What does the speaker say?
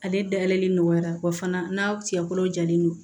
Ale dayɛlɛli nɔgɔyara wa fana n'a ciɲɛ kolo jalen don